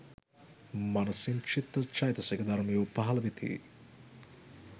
මනසින් චිත්ත චෛතසික ධර්මයෝ පහළ වෙති.